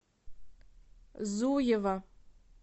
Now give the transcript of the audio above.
зуева